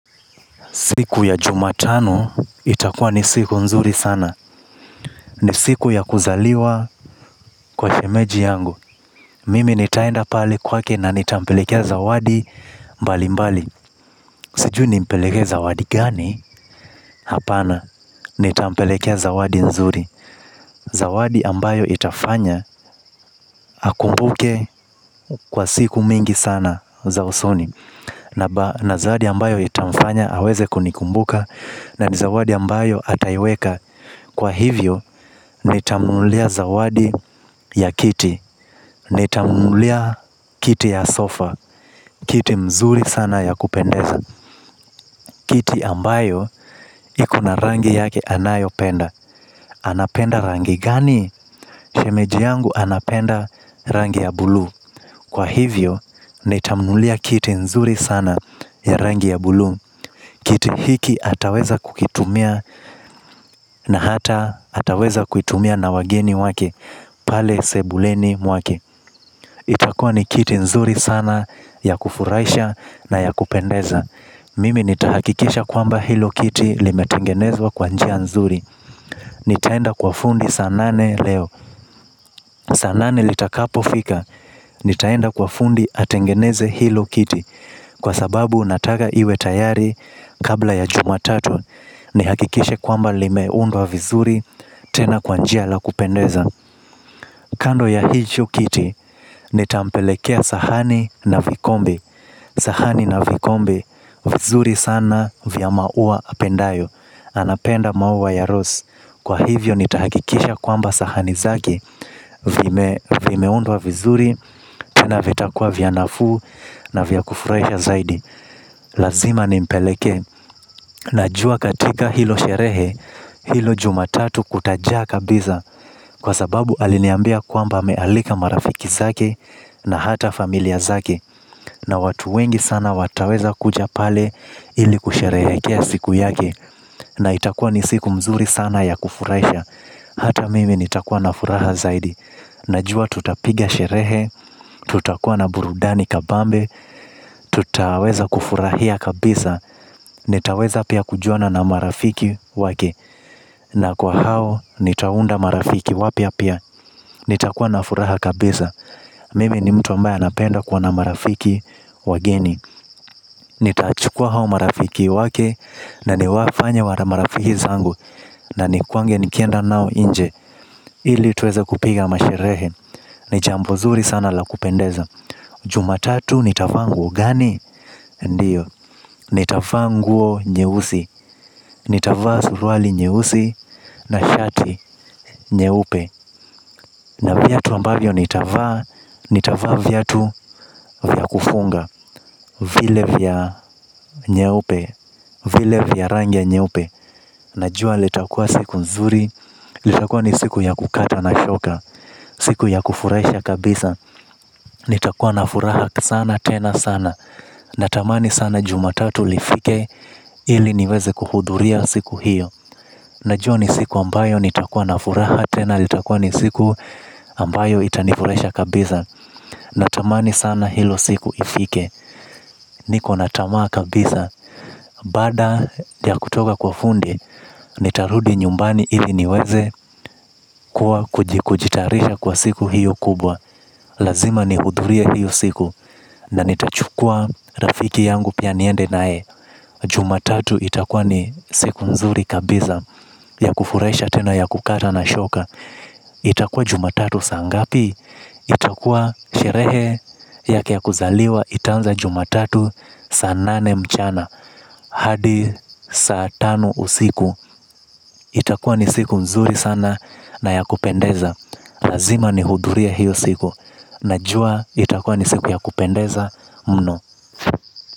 Siku ya jumatano itakuwa ni siku nzuri sana. Ni siku ya kuzaliwa kwa shemeji yangu. Mimi nitaenda pale kwake na nitampelekea zawadi mbali mbali. Sijui nimpelekee zawadi gani? Hapana, nitampelekea zawadi nzuri. Zawadi ambayo itafanya akumbuke kwa siku mingi sana za usoni. Na zawadi ambayo itamfanya aweze kunikumbuka. Na ni zawadi ambayo ataiweka. Kwa hivyo, nitamnunulia zawadi ya kiti. Nitamnunulia kiti ya sofa. Kiti mzuri sana ya kupendeza kiti ambayo ikona rangi yake ambayo anapenda. Anapenda rangi gani? Shemeji yangu anapenda rangi ya buluu. Kwa hivyo, nitamnunulia kiti zuri sana ya rangi ya buluu. Kiti hiki ataweza kukitumia. Na hata ataweza kuitumia na wageni wake. Pale sebuleni mwake. Itakuwa ni kiti nzuri sana ya kufurahisha na ya kupendeza. Mimi nitahakikisha kwamba hilo kiti limetengenezwa kwa njia nzuri. Nitaenda kwa fundi saa nane leo. Saa nane litakapo fika. Nitaenda kwa fundi atengeneze hilo kiti. Kwa sababu nataka iwe tayari kabla ya jumatatu. Nihakikishe kwamba limeundwa vizuri tena kwa njia la kupendeza. Kando ya hicho kiti nitampelekea sahani na vikombe. Sahani na vikombe vizuri sana vya maua apendayo. Anapenda maua ya rose. Kwa hivyo nitahakikisha kwamba sahani zake vimeundwa vizuri tena vitakuwa vya nafuu na vya kufurahisha zaidi. Lazima nimpeleke na jua katika hilo sherehe, hilo jumatatu kutajaa kabisa kwa sababu aliniambia kwamba amealika marafiki zake na hata familia zake na watu wengi sana wataweza kuja pale ili kusherehekea siku yake na itakuwa ni siku mzuri sana ya kufurahisha hata mimi nitakuwa na furaha zaidi najua tutapiga sherehe, tutakuwa na burudani kabambe tutaweza kufurahia kabisa. Nitaweza pia kujuana na marafiki wake. Na kwa hao nitaunda marafiki wapya pia. Nitakuwa na furaha kabisa. Mimi ni mtu ambaye anapenda kuwa na marafiki wageni. Nitachukua hao marafiki wake. Na niwafanye marafiki zangu. Na ni kuange nikienda nao inje. Ili tuweze kupiga masherehe. Ni jambo zuri sana la kupendeza. Jumatatu nitavaa nguo gani? Ndiyo. Nitavaa nguo nyeusi. Nitavaa suruali nyeusi na shati nyeupe. Na viatu ambavyo nitavaa, nitavaa viatu vya kufunga. Vile vya nyeupe, vile vya rangi ya nyeupe. Najua litakua siku nzuri, litakua ni siku ya kukata na shoka. Siku ya kufurahisha kabisa, nitakuwa na furaha sana, tena sana. Natamani sana jumatatu lifike, ili niweze kuhudhuria siku hiyo. Najua ni siku ambayo nitakuwa na furaha tena. Nitakuwa ni siku ambayo itanifurahisha kabisa. Natamani sana hilo siku ifike. Nikona tamaa kabisa. Baada ya kutoka kwa fundi nitarudi nyumbani ili niweze kujitayarisha kwa siku hiyo kubwa. Lazima nihudhurie hiyo siku. Na nitachukua rafiki yangu pia niende naye. Jumatatu itakuwa ni siku nzuri kabisa ya kufurahisha tena ya kukata na shoka. Itakuwa jumatatu saa ngapi. Itakuwa sherehe yake ya kuzaliwa. Itaanza jumatatu saa nane mchana hadi saa tano usiku. Itakuwa ni siku nzuri sana na ya kupendeza. Lazima nihudhurie hiyo siku. Najua itakuwa ni siku ya kupendeza mno.